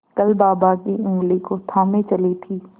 कल बाबा की ऊँगली को थामे चली थी